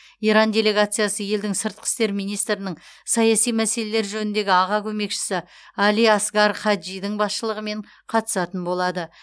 иран делегациясы елдің сыртқы істер министрінің саяси мәселелер жөніндегі аға көмекшісі али асгар хаджидің басшылығымен қатысатын болады